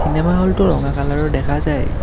Cinema হলটো ৰঙা কালাৰৰ দেখা যায়।